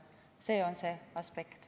See on see aspekt.